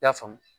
I y'a faamu